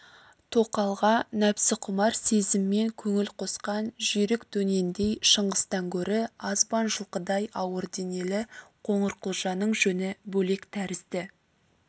тоқалға нәпсіқұмар сезіммен көңіл қосқан жүйрік дөнендей шыңғыстан гөрі азбан жылқыдай ауыр денелі қоңырқұлжаның жөні бөлек тәрізді